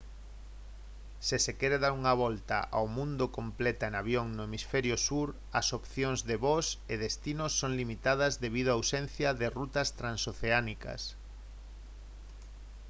se se quere dar unha volta ao mundo completa en avión no hemisferio sur as opcións de voos e destinos son limitadas debido a ausencia de rutas transoceánicas